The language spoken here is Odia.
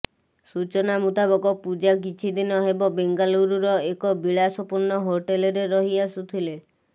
ସୂଚନା ମୁତାବକ ପୂଜା କିଛି ଦିନ ହେବ ବେଙ୍ଗାଲୁରୁର ଏକ ବିଳାସପୂର୍ଣ୍ଣ ହୋଟେଲରେ ରହି ଆସୁଥିଲେ